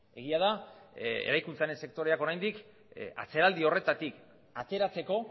egia da eraikuntzaren sektoreak oraindik atzeraldi horretatik ateratzeko